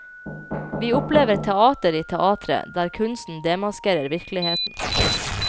Vi opplever teater i teatret, der kunstneren demaskerer virkeligheten.